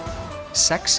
sex